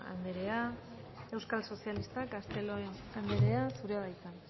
anderea euskal sozialistak castelo anderea zurea da hitza